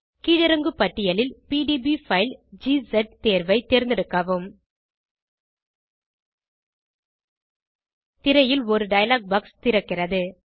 கீழிறங்கு பட்டியலில் PDF file தேர்வை தேர்ந்தெடுக்கவும் திரையில் ஒரு டயலாக் பாக்ஸ் திறக்கிறது